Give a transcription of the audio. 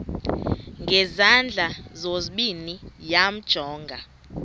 ngezandla zozibini yamjonga